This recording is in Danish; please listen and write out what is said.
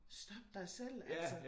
Stop dig selv altså